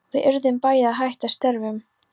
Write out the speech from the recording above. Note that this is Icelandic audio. Við urðum bæði að hætta störfum.